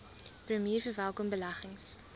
premier verwelkom beleggings